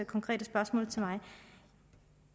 konkrete spørgsmål til mig